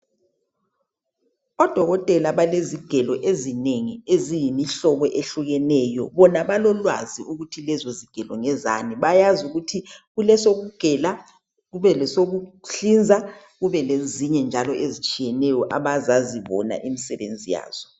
Odokotela balezigelo ezinengi eziyimihlobo ehlukeneyo..Bona balolwazi ukuthi lezozigelo ngezani. Bayazi ukuthi kulesokugela, kube lesokuhlinza, kube lezinye njalo ezitshiyeneyo Abazazi bona imisebenzi yazo.